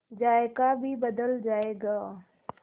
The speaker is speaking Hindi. जायका भी बदल जाएगा